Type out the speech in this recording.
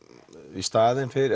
í staðinn